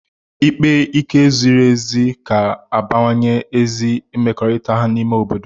Ikpe ike ziri ezi ga-abawanye ezi mmekọrịta n'ime obodo